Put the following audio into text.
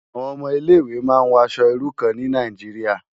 Awòn òmò Ilé Iwé má n wò aṣò irú kàn ni Nàijiriá